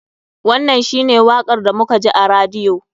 Wannan shi ne wakar da muka ji a radiyo.